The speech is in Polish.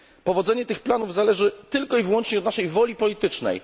Powodzenie tych planów zależy tylko i wyłącznie od naszej woli politycznej.